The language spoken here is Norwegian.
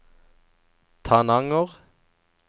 Tananger